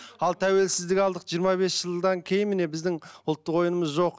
ал тәуелсіздік алдық жиырма бес жылдан кейін міне біздің ұлттық ойынымыз жоқ